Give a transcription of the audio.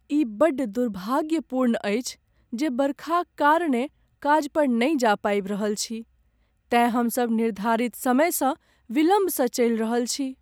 ई बड्ड दुर्भाग्यपूर्ण अछि जे बरखाक कारणेँ काज पर नहि जा पाबि रहल छी तेँ हमसभ निर्धारित समयसँ विलम्बसँ चलि रहल छी ।